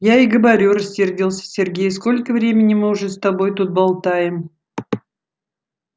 я и говорю рассердился сергей сколько времени мы уже с тобой тут болтаем